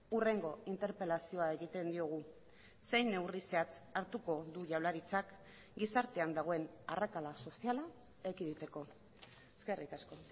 hurrengo interpelazioa egiten diogu zein neurri zehatz hartuko du jaurlaritzak gizartean dagoen arrakala soziala ekiditeko eskerrik asko